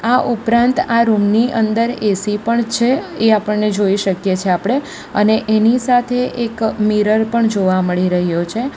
આ ઉપરાંત આ રૂમ ની અંદર એ_સી પણ છે એ આપણને જોઈ શકીએ છે આપડે અને એની સાથે એક મિરર પણ જોવા મળી રહ્યો છે.